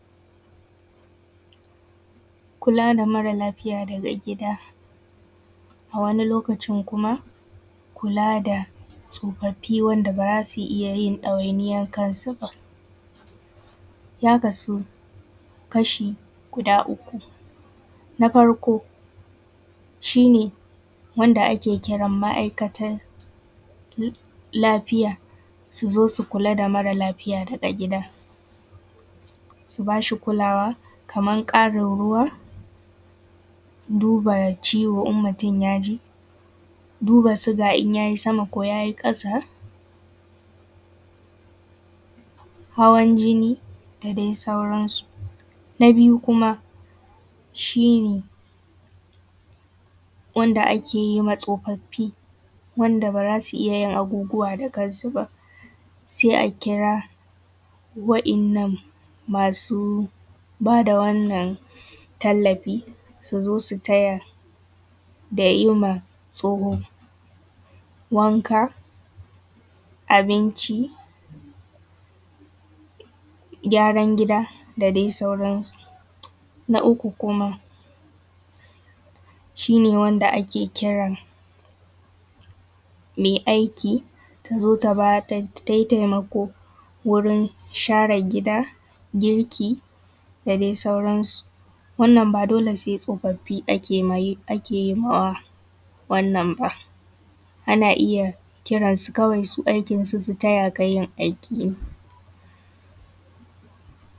Kula da mara lafiya daga gida, a wani lokacin kuma kula da tsofaffi wanda ba zasu iya ɗawainiyar kan su ba. Ya kasu kashi guda uku, na farko shi ne wanda ake kiran ma’aikatan lafiya su zo su kula da mara lafiya daga gida, su ba shi kulawa kamar ƙarin ruwa, duba ciwo in mutum ya ji, duba sugar in yayi sama ko yayi ƙasa, hawan jinni da dai sauran su, Na biyu kuma, shi ne wanda ake yi ma tsofaffi wanda bara su iya yin abubuwa da kan su ba, sai a kira waɗannan masu bada wannan tallafi, su zo su taya da yima tsoho wanka, abinci, gyaran gida da dai sauran su. Na uku kuma, shi ne wanda ake kiran mai aiki tazo ta tayi taimako wurin share gida, girki da dai sauran su. Wannan ba dole sai tsofaffi ake yima wa wannan ba, ana iya kiran su kawai aikin su su taya ka yin aiki ne.